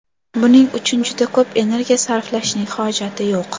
Buning uchun juda ko‘p energiya sarflashning hojati yo‘q.